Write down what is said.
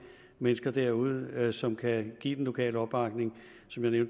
mennesker derude som kan give den lokale opbakning som jeg